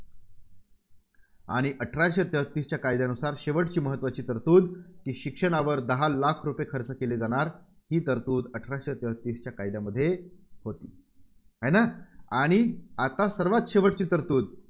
आणि अठराशे तेहतीसच्या कायद्यानुसार शेवटची महत्त्वाची तरतुद ती शिक्षणावर दहा लाख रुपये खर्च केले जाणार ही तरतुद अठराशे तेहतीसच्या कायद्यामध्ये होती. आहे ना? आणि आता सर्वांत शेवटची तरतुद